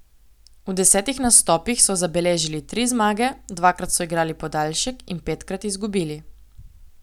V desetih nastopih so zabeležili tri zmage, dvakrat so igrali podaljšek in petkrat izgubili.